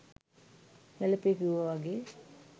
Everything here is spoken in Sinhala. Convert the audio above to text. හැලපේ කිව්ව වගේ